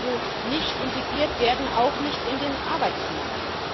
Sie müssen also nicht integriert werden, auch nicht in den Arbeitsmarkt.